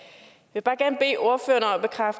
der